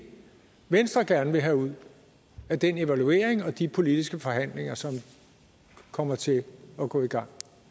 venstre gerne vil have ud af den evaluering og de politiske forhandlinger som kommer til at gå i gang